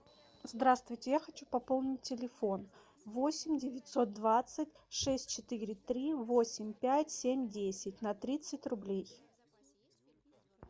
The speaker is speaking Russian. здравствуйте я хочу пополнить телефон восемь девятьсот двадцать шесть четыре три восемь пять семь десять на тридцать рублей